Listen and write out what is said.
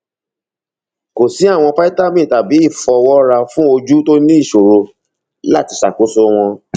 kò sí àwọn fítámì tàbí ìfọwọra fún ojú tó ní ìṣòro láti ṣàkóso wọn